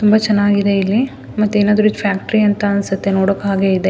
ತುಂಬ ಚೆನ್ನಾಗಿದೆ ಇಲ್ಲಿ ಮತ್ತೆ ಏನಾದ್ರು ಫ್ಯಾಕ್ಟರಿ ಅಂತ ಅನ್ಸುತ್ತೆ ನೋಡೋಕೆ ಹಾಗೆ ಇದೆ .